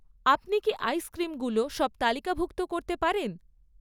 আপনি কি আইসক্রিমগুলো সব তালিকাভুক্ত করতে পারেন?